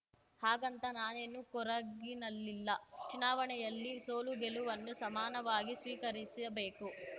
ಹಾಗಂತಾ ನಾನೇನು ಕೊರಗಿನಲ್ಲಿಲ್ಲ ಚುನಾವಣೆಯಲ್ಲಿ ಸೋಲುಗೆಲುವನ್ನು ಸಮಾನವಾಗಿ ಸ್ವೀಕರಿಸಬೇಕು